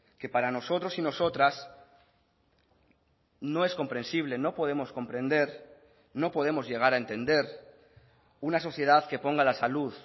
que para nosotros y nosotras no es comprensible no podemos comprender no podemos llegar a entender una sociedad que ponga la salud